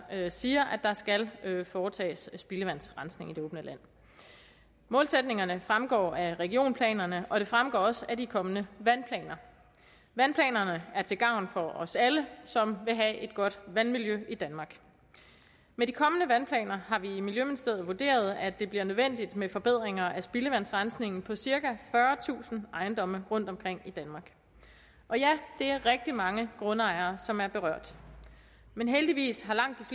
siger at der skal foretages spildevandsrensning i det åbne land målsætningerne fremgår af regionplanerne og de fremgår også af de kommende vandplaner vandplanerne er til gavn for os alle som vil have et godt vandmiljø i danmark med de kommende vandplaner har vi i miljøministeriet vurderet at det bliver nødvendigt med forbedringer af spildevandsrensningen på cirka fyrretusind ejendomme rundtomkring i danmark og ja det er rigtig mange grundejere som er berørt men heldigvis har langt